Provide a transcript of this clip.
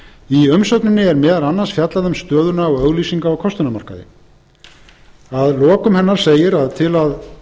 í umsögninni er meðal annars fjallað um stöðuna á auglýsinga og kostunarmarkaði að lokum segir að til að